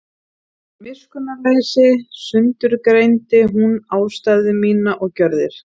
Af miskunnarleysi sundurgreindi hún ástæður mínar og gjörðir.